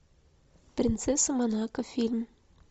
принцесса монако фильм